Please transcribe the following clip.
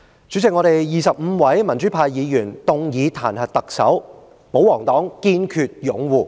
主席，我們25位民主派議員動議彈劾特首的議案，但保皇黨卻堅決擁護她。